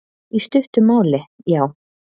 Í stuttu máli, já.